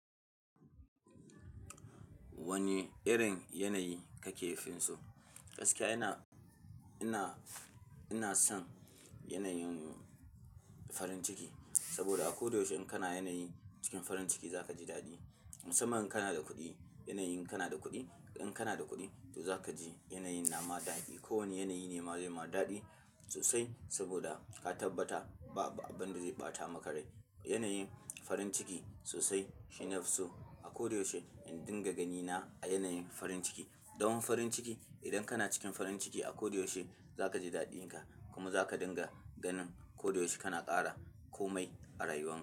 Wane irin yanayi kake finso? Gaskiya ina, ina, ina son yanayin farin ciki. Saboda a koda yaushe in kana yanayin cikin farin ciki za ka ji daɗi. Musamman in kana da kuɗi, yanayin kana da kuɗi. In kanada kuɗi to zaka ji yanayin nama daɗi. Ko wane yanayi ne ma zai ma daɗi sosai saboda ka tabbata babu abinda zai ɓata maka rai. Yanayin farin ciki sosai shine nafi so. A koda yaushe in dinga gani na a yanayin farin ciki. Zaman farin ciki, idan kana cikin farin ciki a kodayaushe, zakaji daɗinka, kuma zaka dinga ganin koda yaushe kana ƙara komai a rayuwarka.